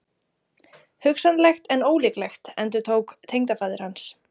Hugsanlegt en ólíklegt endurtók tengdafaðir hans.